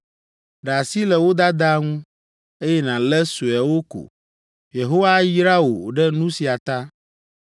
Ɖe asi le wo dadaa ŋu, eye nàlé sueawo ko. Yehowa ayra wò ɖe nu sia ta.